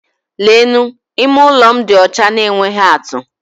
Leenụ! Ime ụlọ m dị ọcha na-enweghị atú!